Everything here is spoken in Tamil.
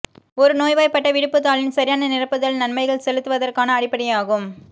ஒரு நோய்வாய்ப்பட்ட விடுப்புத் தாளின் சரியான நிரப்புதல் நன்மைகள் செலுத்துவதற்கான அடிப்படையாகும்